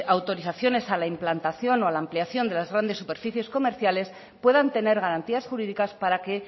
autorizaciones a la implantación o a la ampliación de las grandes superficies comerciales puedan tener garantías jurídicas para que